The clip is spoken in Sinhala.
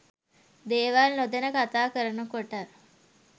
දේවල් නොදැන කතා කරනකොට